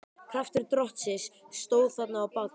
Kraftur Drottins stóð þarna á bak við.